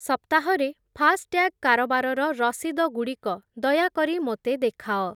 ସପ୍ତାହ ରେ ଫାସ୍‌ଟ୍ୟାଗ୍ କାରବାରର ରସିଦଗୁଡ଼ିକ ଦୟାକରି ମୋତେ ଦେଖାଅ।